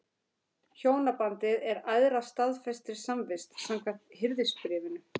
Hjónabandið er æðra staðfestri samvist, samkvæmt Hirðisbréfinu.